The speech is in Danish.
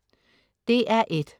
DR1: